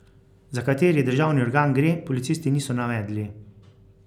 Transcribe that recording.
Za kateri državni organ gre, policisti niso navedli.